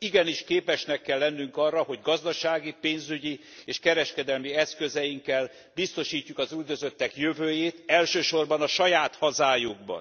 Igenis képesnek kell lennünk arra, hogy gazdasági, pénzügyi és kereskedelmi eszközeinkkel biztosítjuk az üldözöttek jövőjét, elsősorban a saját hazájukban.